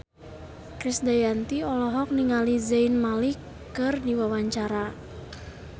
Krisdayanti olohok ningali Zayn Malik keur diwawancara